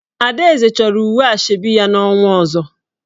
Adaeze choro uwe Asoebi ya n'onwa ozo.